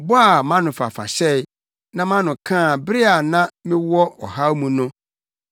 bɔ a mʼanofafa hyɛe, na mʼano kaa bere a na mewɔ ɔhaw mu no.